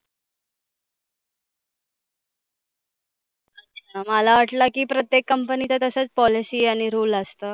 मला वाटलं की प्रत्येक company तसच policy आणि rule असतं.